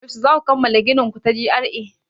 Yaushe zaku kammala ginin ku ta G.R.A?